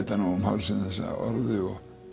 um hálsinn þessa orðu